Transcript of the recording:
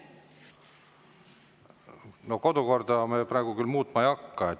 No kodukorda me praegu küll muutma ei hakka.